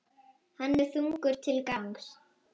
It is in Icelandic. Hann er þungur til gangs.